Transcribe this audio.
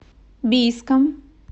бийском